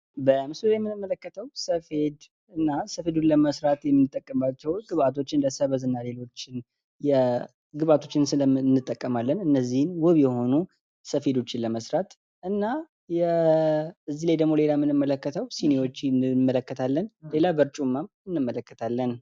በምስሉ ላይ የምንመለከተው ሰፌድ እና ሰፌዱን ከመስራት የምንጠቀምባቸው እንደሰበዝ እና ሌሎች ግባቶችን እንጠቀማለን። እነዚህን ዉብ የሆነ ሰፌዶችን ለመስራት እና ከዚህ ላይ ሌላ የምንመልከተው ሲኒዎችን እንመለከታለን። ሌላ በርጩማ እንመለከታለን።